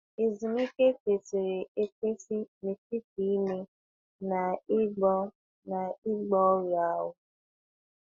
Ezumike kwesịrị ekwesị n’etiti ime na-egbo na-egbo ọrịa ahụ́.